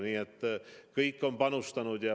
Nii et kõik on panustanud.